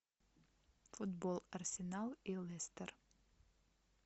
футбол арсенал и лестер